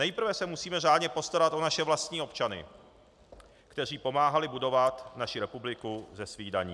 Nejprve se musíme řádně postarat o naše vlastní občany, kteří pomáhali budovat naši republiku ze svých daní.